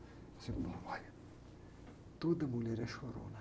Ele disse, olha, toda mulher é chorona.